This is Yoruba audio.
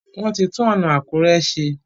Wón tí tun ọna Akure ṣe.